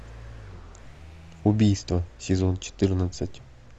убийство сезон четырнадцать